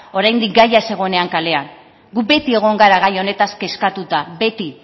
oraindik gaia ez zegoenean kalean gu beti egon gara gai honetaz kezkatuta